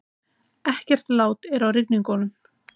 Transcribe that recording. Ekkert lát er á rigningunum